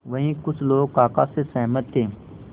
वहीं कुछ लोग काका से सहमत थे